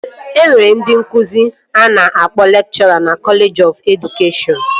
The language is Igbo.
E nwere ndị nkụzi a na-akpọ lekchọra na kọleji ọf edụkeshọn